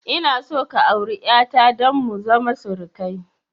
Ina son ka auri 'yata don mu zama surukai